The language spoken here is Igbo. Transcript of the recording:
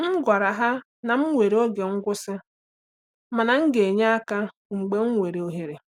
M gwara ha na m nwere oge ngwụsị mana m ga-enye aka mgbe m nwere ohere.